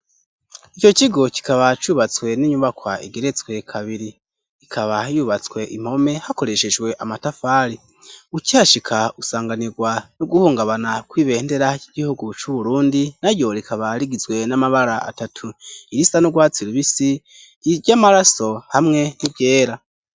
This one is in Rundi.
ico kigo kikaba cubatswe n'inyubakwa igeretswe kabiri ikaba yubatswe impome hakoreshejwe amatafari ukihashika usanganirwa no guhungabana kwibendera k'igihugu c'uburundi na ryo rikaba rigizwe n'amabara atatu irisa nu rwatsi rubisi ry'amaraso hamwe n'iryera